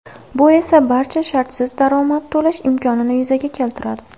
Bu esa barchaga shartsiz daromad to‘lash imkonini yuzaga keltiradi.